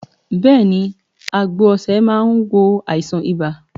Bẹ́ẹ̀ni àgbo osè máa wo àìsàn ibà